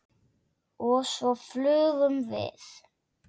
Og svo flugum við.